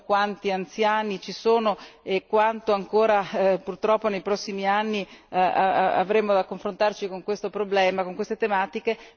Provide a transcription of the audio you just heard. Sappiamo quanti anziani ci sono e quanto ancora purtroppo nei prossimi anni avremo da confrontarci con questo problema, con queste tematiche.